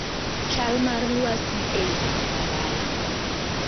Chal mar lwasi ei boma ma dala